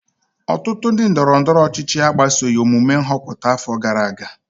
ọtụtụ ndị ndọrọ ndọrọ ọchịchị agbasoghị omume nhọpụta afọ gara aga